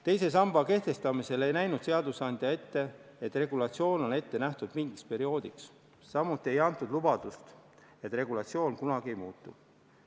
Teise samba kehtestamisel ei näinud seadusandja ette, et regulatsioon on ette nähtud mingiks perioodiks, samuti ei antud lubadust, et regulatsioon kunagi ei muutu.